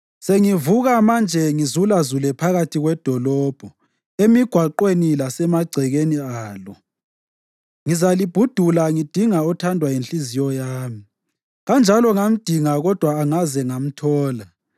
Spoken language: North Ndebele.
Sengivuka manje ngizulazule phakathi kwedolobho, emigwaqweni lasemagcekeni alo; ngizalibhudula ngidinga othandwa yinhliziyo yami. Kanjalo ngamdinga kodwa angaze ngamthola.